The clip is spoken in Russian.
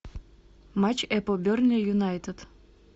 матч апл бернли юнайтед